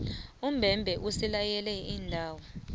umbebhe usilaye iindawo